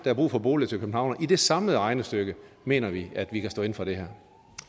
er brug for boliger til københavnerne i det samlede regnestykke mener vi at vi kan stå inde for det her